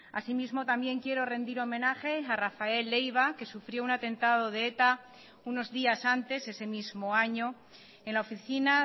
así mismo también quiero rendir homenaje a rafael leiva que sufrió un atentado de eta unos días antes ese mismo año en la oficina